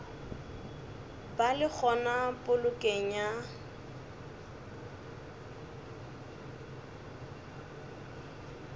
ba le gona polokong ya